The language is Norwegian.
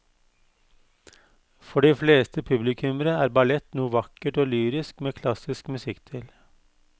For de fleste publikummere er ballett noe vakkert og lyrisk med klassisk musikk til.